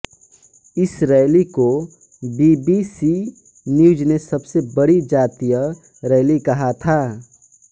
इस रैली को B B C news ने सबसे बड़ी जातीय रैली कहा था